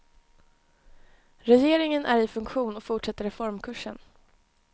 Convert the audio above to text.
Regeringen är i funktion och fortsätter reformkursen.